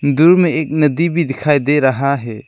दूर में एक नदी भी दिखाई दे रहा है।